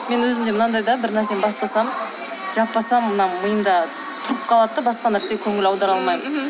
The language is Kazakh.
мен өзім де мынадай да бір нәрсені бастасам жаппасам мына миымда тұрып қалады да басқа нәрсеге көңіл аудара алмаймын